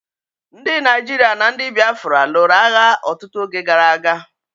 Ndi Naijiria na ndi Biafra lụrụ agha ọtụtụ oge gara aga.